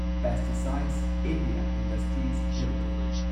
pesticides India industries limited